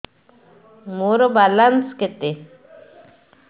ମୋର ବାଲାନ୍ସ କେତେ